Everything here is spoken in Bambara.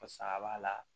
Fasa b'a la